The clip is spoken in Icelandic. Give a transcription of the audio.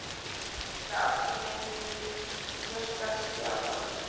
Það er náttúrlega ást í meinum, þrjóskast ég áfram.